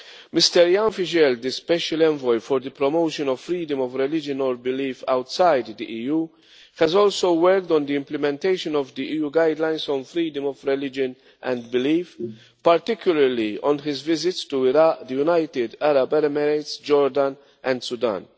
Mr Ján Figeľ, the Special Envoy for the promotion of the freedom of religion or belief outside the EU, has also worked on the implementation of the EU Guidelines on freedom of religion and belief, particularly on his visits to Iraq, the United Arab Emirates, Jordan and Sudan.